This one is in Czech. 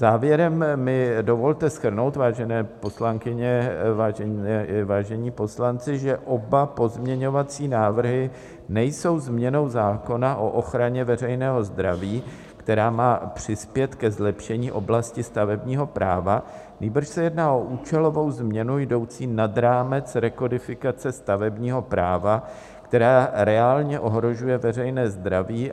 Závěrem mi dovolte shrnout, vážené poslankyně, vážení poslanci, že oba pozměňovací návrhy nejsou změnou zákona o ochraně veřejného zdraví, která má přispět ke zlepšení oblasti stavebního práva, nýbrž se jedná o účelovou změnu jdoucí nad rámec rekodifikace stavebního práva, která reálně ohrožuje veřejné zdraví.